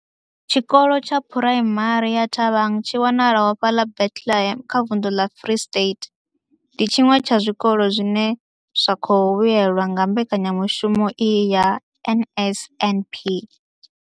Tshikolo tsha Phuraimari ya Thabang tshi wanalaho fhaḽa Bethlehem kha vunḓu ḽa Free State, ndi tshiṅwe tsha zwikolo zwine zwa khou vhuelwa nga mbekanya mushumo iyi ya NSNP.